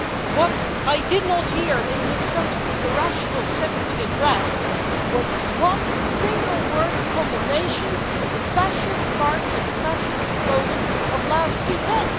What I did not hear in his totally irrational seven minute rant was one single word of condemnation of the fascist march and the fascist slogans of last weekend.